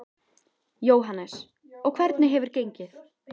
Jóhannes: Og hvernig hefur gengið?